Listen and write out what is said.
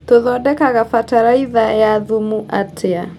Tũthondekaga bataraitha ya thumu atĩa.